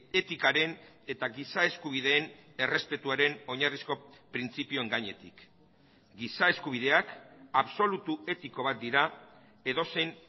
etikaren eta giza eskubideen errespetuaren oinarrizko printzipioen gainetik giza eskubideak absolutu etiko bat dira edozein